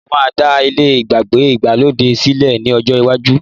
mo máa dá ilé ìyàgbẹ́ Ìgbàlódé sílẹ ní ọjọ lwaju